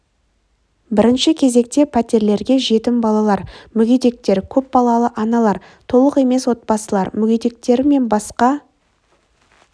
бірінші кезекте пәтерлерге жетім балалар мүгедектер көп балалы аналар толық емес отбасылар мүгедектері мен басқа